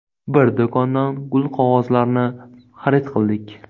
Bir do‘kondan gulqog‘ozlarni xarid qildik.